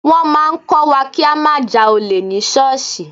Wọ́n máa ń kọ́ wa kí á má ja olè ní ṣọ́ọ̀ṣì.